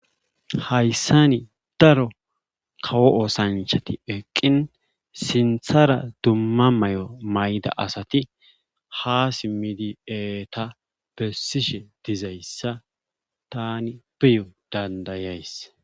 Hayssan daro kawo oosanchati eqqin sinththara dumma mayo mayida asati ha simidi eeta bessishe dizayssa taani beyo dandayays.